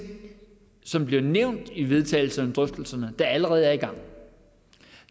som bliver nævnt i vedtagelserne og drøftelserne der allerede er i gang